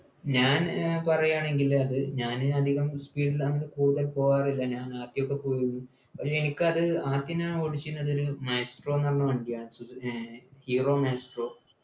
ഞാൻ ഏർ പറയാണെങ്കിൽ അത് ഞാൻ അധികം speed ൽ അങ്ട് കൂടെ പോകാറില്ല ഞാൻ ആദ്യോക്കെ പോയി പക്ഷെ എനിക്കത് ആകെ ഞൻ ഓടിച്ചിനത് maestro ന്നു പറഞ്ഞ വണ്ടിയാണ് സുസു ഏർ hero maestro